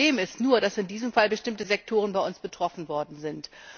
Das Problem ist nur, dass in diesem Fall bestimmte Sektoren bei uns betroffen sind.